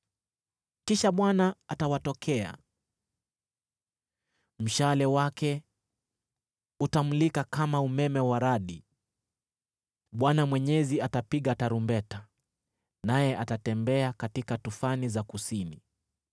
Kisha Bwana atawatokea; mshale wake utamulika kama umeme wa radi. Bwana Mwenyezi atapiga tarumbeta, naye atatembea katika tufani za kusini,